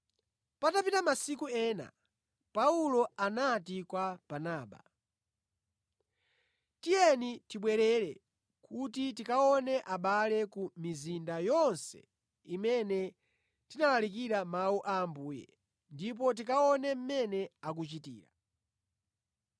Patapita masiku ena Paulo anati kwa Barnaba, “Tiyeni tibwerere kuti tikaone abale ku mizinda yonse imene tinalalika Mawu a Ambuye ndipo tikaone mmene akuchitira.”